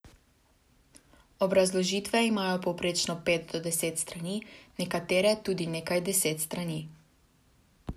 Obrazložitve imajo povprečno pet do deset strani, nekatere tudi nekaj deset strani.